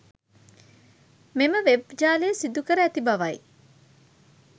මෙම වෙබ් ජාලය සිදුකර ඇති බවයි.